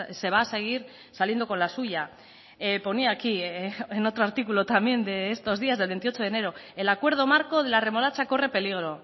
se va a seguir saliendo con la suya ponía aquí en otro artículo también de estos días del veintiocho de enero el acuerdo marco de la remolacha corre peligro